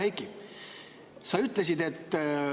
Hea Heiki!